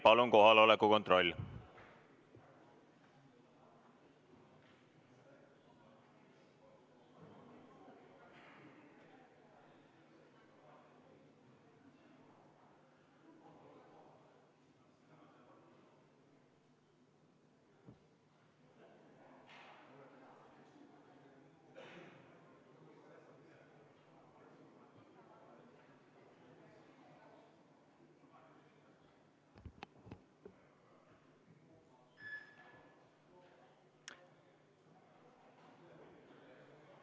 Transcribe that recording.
Palun kohaloleku kontroll!